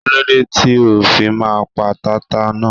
Kíló dé tí o fi máa pa tata náà.